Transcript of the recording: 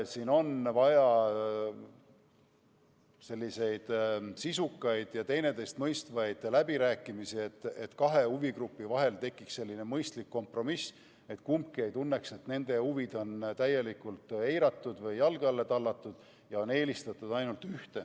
Siin on vaja sisukaid ja teineteist mõistvaid läbirääkimisi, et kahe huvigrupi vahel tekiks mõistlik kompromiss ning kumbki ei tunneks, et nende huvisid on täielikult eiratud või jalge alla tallatud ja eelistatud on ühte osapoolt.